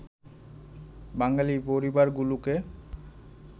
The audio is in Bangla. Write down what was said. বাঙালি পরিবারগুলোকে